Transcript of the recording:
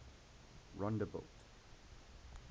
rondebult